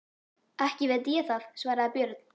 Ekki veit ég það, svaraði Björn.